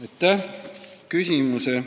Aitäh!